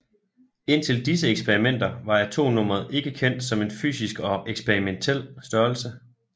Indtil disse eksperimenter var atomnummeret ikke kendt som en fysisk og eksperimentel størrelse